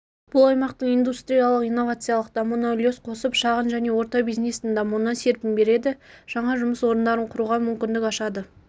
бұл аймақтың индустриялық-инновациялық дамуына үлес қосып шағын және орта бизнестің дамуына серпін береді жаңа жұмыс орындарын құруға мүмкіндік ашады